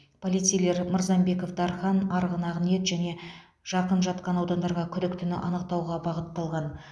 полицейлер мырзамбеков дархан арғын ақниет және жақын жатқан аудандарға күдіктіні анықтауға бағытталған